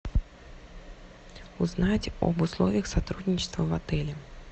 узнать об условиях сотрудничества в отеле